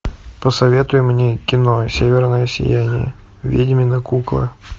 посоветуй мне кино северное сияние ведьмина кукла